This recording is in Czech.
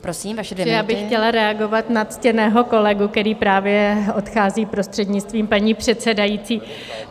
Já bych chtěla reagovat na ctěného kolegu, který právě odchází, prostřednictvím paní předsedající.